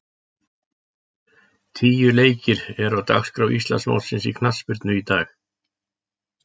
Tíu leikir eru á dagskrá Íslandsmótsins í knattspyrnu í dag.